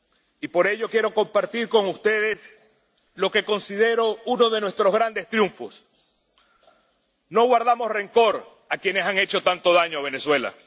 Y por ello, quiero compartir con ustedes lo que considero uno de nuestros grandes triunfos no guardamos rencor a quienes han hecho tanto daño a Venezuela.